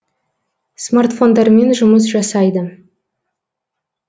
смартфондармен жұмыс жасайды